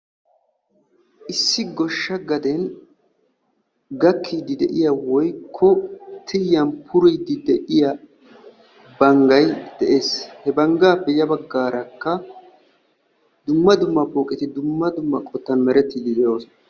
issi goshsha gaden gakiidi de'iya woykko tiyan puriidi de'iya banggay dees, he bangaappe ya bagaaraka dumma dumma poqetti dumma dumma qotan meretiidi de'oosona.